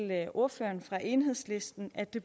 ordføreren for enhedslisten at det